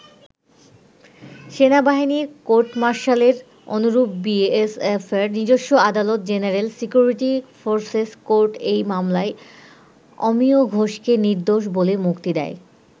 সেনাবাহিনীর কোর্টমার্শালের অনুরূপ বি এস এফের নিজস্ব আদালত জেনারেল সিকিউরিটি ফোর্সেস কোর্ট এই মামলায় অমিয় ঘোষকে নির্দোষ বলে মুক্তি দেয়।